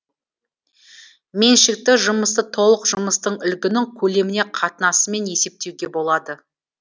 меншікті жұмысты толық жұмыстың үлгінің көлеміне қатынасымен есептеуге болады